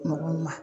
Mɔgɔw ma